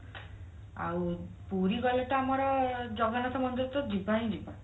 ଆଉ ପୁରୀ ଗଲେ ତ ଆମର ଜଗନ୍ନାଥ ମନ୍ଦିର ତ ଯିବା ହିଁ ଯିବା